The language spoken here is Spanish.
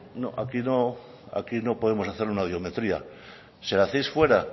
no aquí no podemos hacerle una audiometría se la hacéis fuera